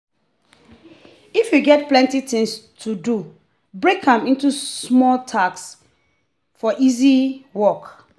if you get plenty things to do break am into small tasks for easy work.